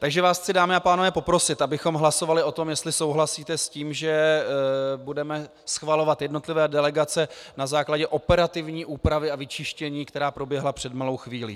Takže vás chci, dámy a pánové, poprosit, abychom hlasovali o tom, jestli souhlasíte s tím, že budeme schvalovat jednotlivé delegace na základě operativní úpravy a vyčištění, která proběhla před malou chvílí.